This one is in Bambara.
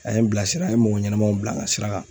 A ye n bila sira n ye mɔgɔ ɲɛnɛmanw bila n ka sira kan